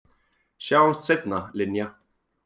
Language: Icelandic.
Sjáumst seinna, Linja.